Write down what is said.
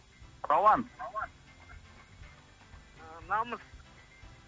рауан ыыы намыс